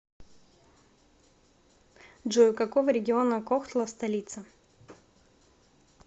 джой у какого региона кохтла столица